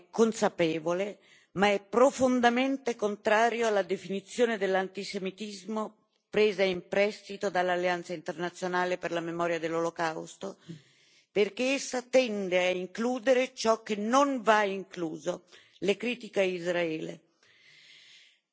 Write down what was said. Il mio gruppo ne è consapevole, ma è profondamente contrario alla definizione dell'antisemitismo presa in prestito dall'Alleanza internazionale per la memoria dell'Olocausto, perché essa tende a includere ciò che non va incluso le critiche a Israele.